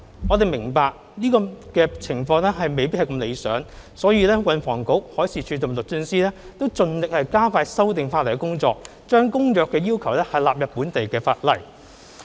我們明白這情況未如理想，故運輸及房屋局、海事處和律政司均盡力加快修訂法例的工作，將《公約》的要求納入本地法例。